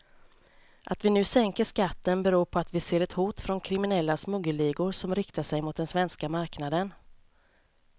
Att vi nu sänker skatten beror på att vi ser ett hot från kriminella smuggelligor som riktar sig mot den svenska marknaden.